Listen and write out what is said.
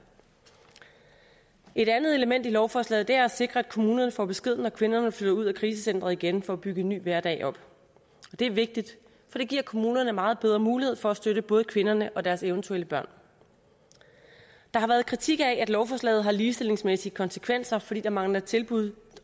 et andet element i lovforslaget er at sikre at kommunerne får besked når kvinderne flytter ud at krisecenteret igen for at bygge en ny hverdag op det er vigtigt for det giver kommunerne meget bedre mulighed for at støtte både kvinderne og deres eventuelle børn der har været kritik af at lovforslaget har ligestillingsmæssige konsekvenser fordi der mangler tilbud